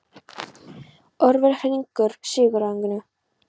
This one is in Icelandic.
Orfeus, hringdu í Sigurrögnu.